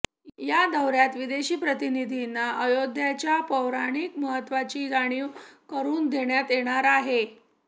या दौऱयात विदेशी प्रतिनिधींना अयोध्येच्या पौराणिक महत्त्वाची जाणीव करून देण्यात येणार आहे